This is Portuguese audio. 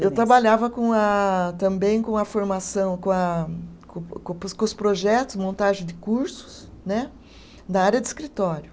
Eu trabalhava com a, também com a formação, com a, com com os projetos, montagem de cursos né, da área de escritório.